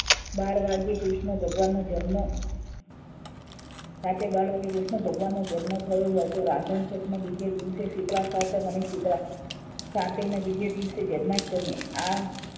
બાર વાગે કૃષ્ણ ભગવાનનો જન્મ રાતે બાર વાગ્યે કૃષ્ણ ભગવાનનો જન્મ થયો અને રાંધણસઠ ના બીજે દિવસે શીતળા સાતમ અને શીતળા સાતમ ના બીજે દિવસે જન્માષ્ટમી આ